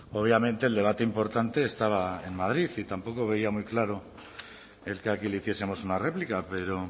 obviamente el debate importante estaba en madrid y tampoco veía muy claro el que aquí le hiciesemos una réplica pero